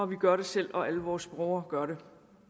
vi gør det selv og alle vores unger gør det